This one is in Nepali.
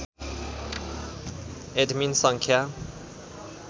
एडमिन सङ्ख्या